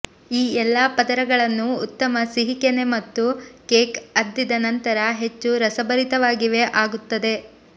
ಈ ಎಲ್ಲಾ ಪದರಗಳನ್ನು ಉತ್ತಮ ಸಿಹಿ ಕೆನೆ ಮತ್ತು ಕೇಕ್ ಅದ್ದಿದ ನಂತರ ಹೆಚ್ಚು ರಸಭರಿತವಾಗಿವೆ ಆಗುತ್ತದೆ